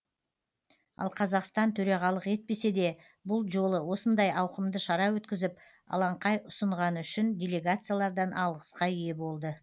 ал қазақстан төрағалық етпесе де бұл жолы осындай ауқымды шара өткізіп алаңқай ұсынғаны үшін делегациялардан алғысқа ие болды